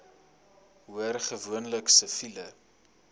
hoor gewoonlik siviele